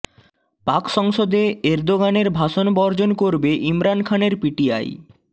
পাক সংসদে এরদোগানের ভাষণ বর্জন করবে ইমরান খানের পিটিআই